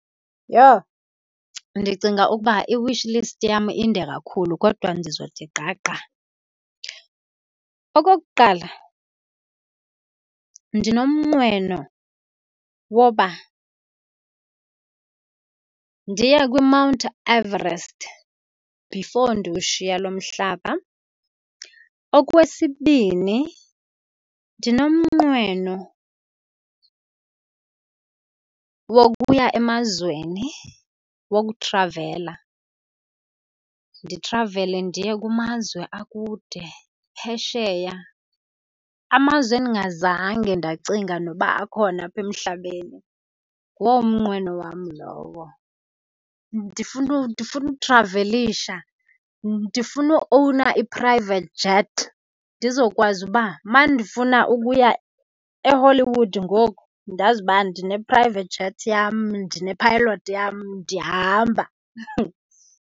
Yho! Ndicinga ukuba i-wish list yam inde kakhulu kodwa ndizothi gqa gqa. Okokuqala, ndinomnqweno woba ndiye kwiMount Everest before ndiwushiye lo mhlaba. Okwesibini, ndinomnqweno wokuya emazweni, wokuthravela, ndithravele ndiye kumazwe akude phesheya, amazwe endingazange ndacinga noba akhona apha emhlabeni. Nguwo umnqweno wam lowo. Ndifuna, ndifuna uthravelisha, ndifuna uowuna i-private jet, ndizokwazi uba uma ndifuna ukuya eHollywood ngoku ndazi uba ndine-private jet yam, ndine-pilot yam, ndiyahamba.